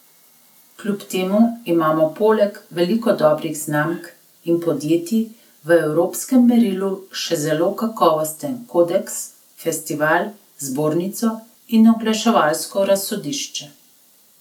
Kljub temu imamo poleg veliko dobrih znamk in podjetij v evropskem merilu še zelo kakovosten kodeks, festival, zbornico in oglaševalsko razsodišče.